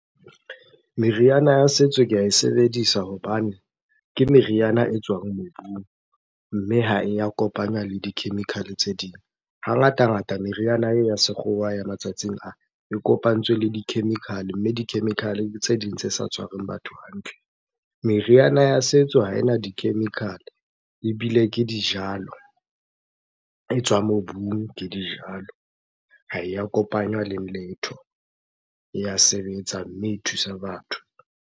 Meriana ya setso ke ae sebedisa hobane ke meriana e tswang mobung, mme ha e ya kopanywa le di-chemical-e tse ding. Hangatangata meriana eo ya sekgowa ya matsatsing a, e kopantswe le di-chemical-e mme di-chemical-e ke tse ding tse sa tshwareng batho hantle. Meriana ya setso ha ena di-chemical-e ebile ke dijalo, e tswa mobung ke dijalo. Ha e ya kopanywa letho. E ya sebetsa, mme e thusa batho.